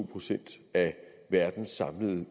procent af verdens samlede